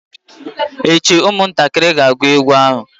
echi ụmụntakiri ga-agụ egwu ahu!